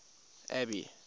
abby